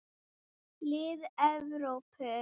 Lið Evrópu.